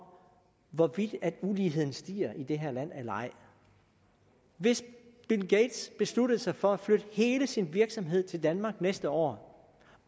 hvorvidt uligheden stiger i det her land eller ej hvis bill gates besluttede sig for at flytte hele sin virksomhed til danmark næste år